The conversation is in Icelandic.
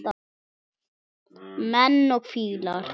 Menn og fílar